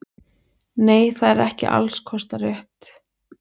Nei það er ekki alls kostar rétt.